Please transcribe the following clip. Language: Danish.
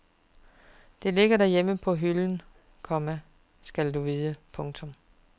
Det ligger derhjemme på hylden, komma skal du vide. punktum